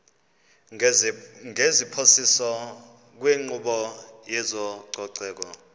ngeziphoso kwinkqubo yezococeko